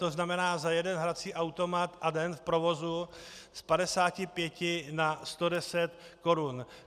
To znamená za jeden hrací automat a den v provozu z 55 na 110 korun.